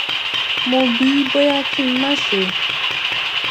mo bi í bóyá kí n má ṣe